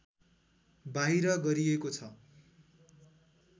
बाहिर गरिएको छ